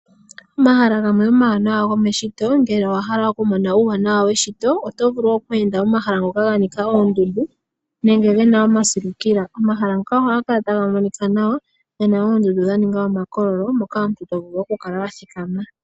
Omahala gamwe gomeshito ngele owahala oku mona uuwanawa weshito oto vulu oku enda omahala ngoka ganika oondundu nenge gena omasilukila. Omahala ngaka ohaga kala taga monika nawa gena oondundu dha ninga omakololo mono omuntu to vulu oku kala wathika ma.